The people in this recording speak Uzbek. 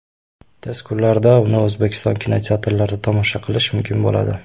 Tez kunlarda uni O‘zbekiston kinoteatrlarida tomosha qilish mumkin bo‘ladi.